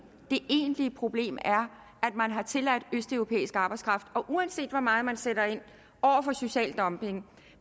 det egentlige problem er at man har tilladt østeuropæisk arbejdskraft og uanset hvor meget man sætter ind over for social dumping